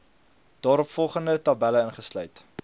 daaropvolgende tabelle ingesluit